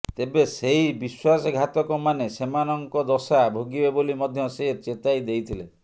ତେବେ ସେହି ବିଶ୍ବାସଘାତକମାନେ ସେମାନଙ୍କ ଦଶା ଭୋଗିବେ ବୋଲି ମଧ୍ୟ ସେ ଚେତାଇ ଦେଇଥିଲେ